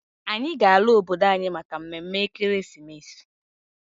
Anyị ga-ala obodo anyị maka mme mme ekeresimesi.